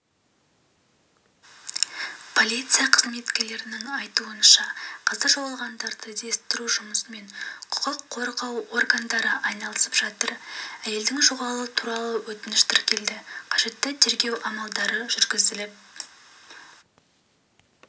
полиция қызметкерлерінің айтуынша қазір жоғалғандарды іздестіру жұмысымен құқық қорғау органдары айналысып жатыр әйелдің жоғалуы туралы өтініш тіркелді қажетті тергеу амалдары жүргізіліп